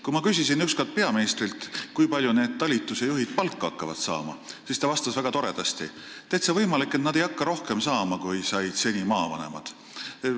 Kui ma küsisin üks kord peaministrilt, kui palju need talituste juhid palka saama hakkavad, siis ta vastas väga toredasti: täitsa võimalik, et nad ei hakka rohkem saama, kui maavanemad seni said.